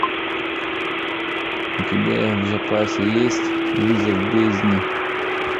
у тебя в запасе есть вызов бездне